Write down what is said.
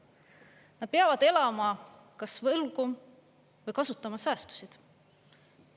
Nad peavad elama kas võlgu või kasutama säästusid.